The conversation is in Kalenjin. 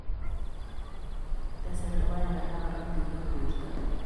tesei logoek alak korotik eng' borto